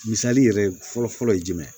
Misali yɛrɛ fɔlɔ fɔlɔ ye jumɛn ye